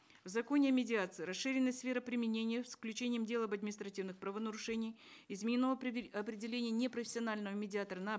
в законе о медиации расширена сфера применения с включением дела об административных правонарушений изменено определение непрофессионального медиатора на